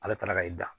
Ala taara ka i da